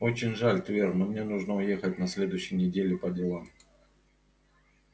очень жаль твер но мне нужно уехать на следующей неделе по делам